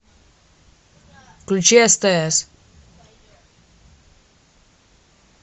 включи стс